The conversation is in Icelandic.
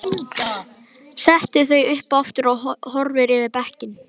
Setur þau upp aftur og horfir yfir bekkinn.